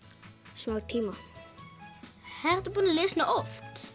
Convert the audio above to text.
smá tíma ertu búin að lesa hana oft